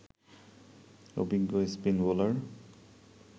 অভিজ্ঞ spin bowler